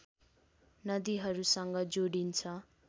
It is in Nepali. नदिहरूसँग जोडिन्छ